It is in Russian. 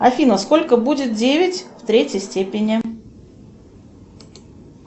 афина сколько будет девять в третьей степени